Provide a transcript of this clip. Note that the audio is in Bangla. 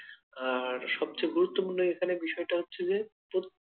আর সবচেয়ে গুরুত্বপূর্ণ এখানে বিষয়টা হচ্ছে যে প্রত্যেকটা,